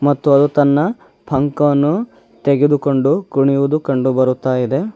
ಮತ್ತು ಅದು ತನ್ನ ಪಂಕವನ್ನು ತೆಗೆದುಕೊಂಡು ಕುಣಿಯುವುದು ಕಂಡುಬರುತ್ತಾಯಿದೆ.